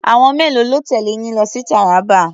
Àwọn mélòó ló tẹ̀lé yín lọ sí Taraba?